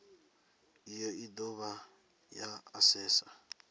iyi i dovha ya asesa